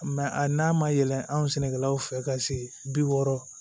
a n'a ma yɛlɛ an sɛnɛkɛlaw fɛ ka se bi wɔɔrɔ